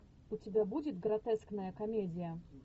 у тебя будет гротескная комедия